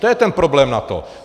To je ten problém NATO.